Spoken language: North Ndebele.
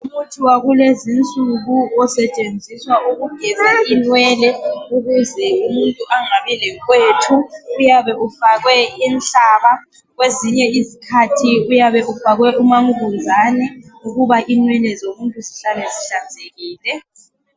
Umuthi wakulezi nsuku osetshenziswa ukugela inywele. Ukuze umuntu angabi lenkwethu. Uyabe ufakwe inhlaba kwezinye isikhathi uyabe ufakwe umankunzane ukuba inwele zomuntu zihlale zihlanzekile.